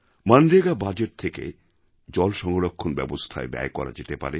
MNREGA budget থেকে জলসংরক্ষণ ব্যবস্থায় ব্যয় করা যেতে পারে